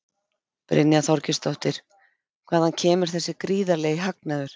Brynja Þorgeirsdóttir: Hvaðan kemur þessi gríðarlegi hagnaður?